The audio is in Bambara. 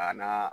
A n'a